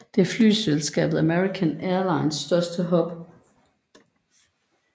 Det flyselskabet American Airlines største hub